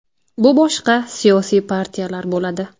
Bu boshqa siyosiy partiyalar bo‘ladi.